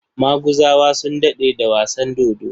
Maguzawa sun daɗe da wasan dodo.